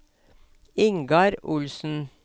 Ingar Olsen